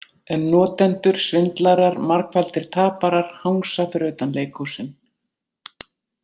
En notendur, svindlarar, margfaldir taparar hangsa fyrir utan leikhúsin.